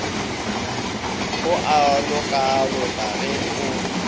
o a lokaloka ge o